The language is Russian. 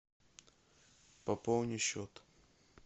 пополни счет